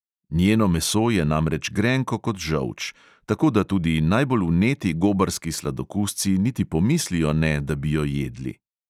Njeno meso je namreč grenko kot žolč, tako da tudi najbolj vneti gobarski sladokusci niti pomislijo ne, da bi jo jedli.